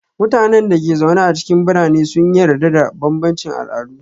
Mutanen da ke zaune a cikin birane sun yarda da bambancin al'adu.